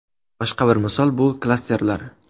Boshqa bir misol bu – klasterlar.